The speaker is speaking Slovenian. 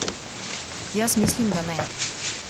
Jaz mislim da ne!